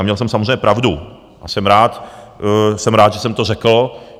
A měl jsem samozřejmě pravdu a jsem rád, že jsem to řekl...